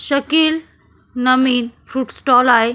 शकिल नमिल fruit stall आहे.